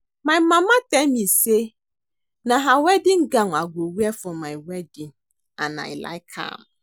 My mama tell me say na her wedding gown I go wear for my wedding and I like am